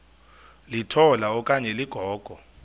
litola okanye ligogo